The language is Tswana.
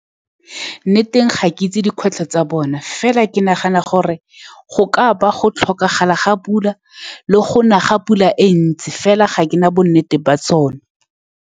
Nneteng, ga ke itse dikgwetlho tsa bona. Fela ke nagana gore go ka ba go tlhokagala ga pula le go na ga pula e ntsi. Fela ga ke na bonnete ba tsone.